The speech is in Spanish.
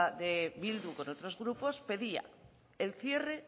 de bildu con otros grupos pedía el cierre